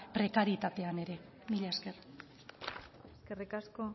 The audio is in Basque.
prekarietatean ere mila esker eskerrik asko